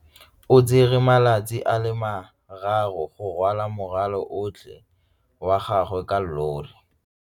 O tsere malatsi a le marraro go rwala morwalo otlhe wa gagwe ka llori.